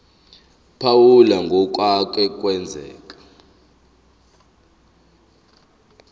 phawula ngokwake kwenzeka